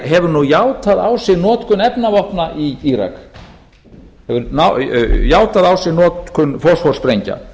hefur nú játað á sig notkun efnavopna í írak hefur játað á sig notkun fosfórsprengna og að